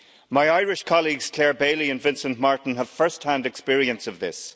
My Irish colleagues Clare Bailey and Vincent Martin have first hand experience of this.